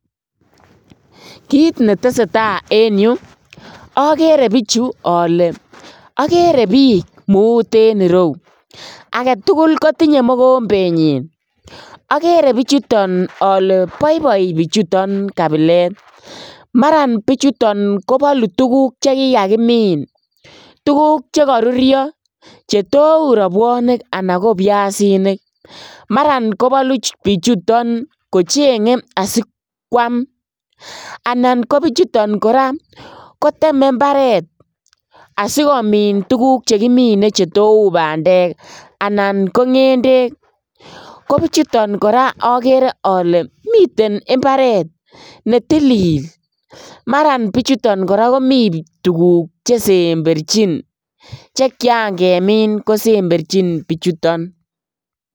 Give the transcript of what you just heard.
Kit netesee taa en yu okere bichu ole, okere bik mut en ireu aketugul kotinye mokombenyin , okeree bichuton oke boiboi bichuton kabilet maran bichuton kobolu tuguk chekikakimin tuguk chekorurio chetou robwonik anan kobiasinik maran kobolu bichuton kochengee asikwam, anan kobichuton koraa koteme imbaret asikomin tuguk chekimine chetou bandek anan ko ngendek, kobichuton koraa okere oke miten imbaret netilil, maran bichuton koraa komi tuguk chesemberjin chekian kemi kosemberjin bichuton.